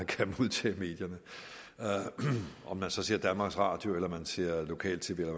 kan modtage medierne om man så ser danmarks radio eller man ser lokal tv eller